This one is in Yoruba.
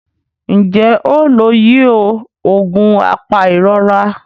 Njé o ló yíò oògùn apairora?